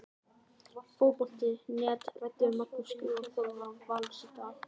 Fótbolti.net ræddi við Magnús Gylfason, þjálfara Vals, í dag.